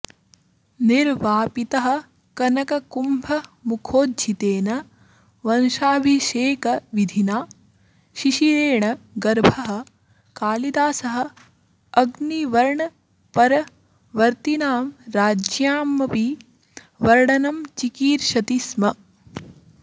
निर्वापितः कनककुम्भमुखोज्झितेन वंशाभिषेकविधिना शिशिरेण गर्भः कालिदासः अग्निवर्णपरवर्तिनां राज्ञामपि वर्णनं चिकीर्षति स्म